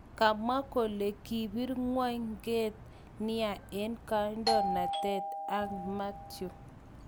Kamwa kole kipir'ngwo'nget nia eng kadoinatet an Mathew.